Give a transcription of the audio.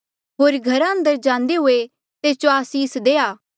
होर घरा अंदर जांदे हुए तेस जो आसीस देआ